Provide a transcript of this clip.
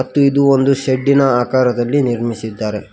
ಇದು ಒಂದು ಶೆಡ್ ಇನ ಆಕಾರದಲ್ಲಿ ನಿರ್ಮಿಸಿದ್ದಾರೆ.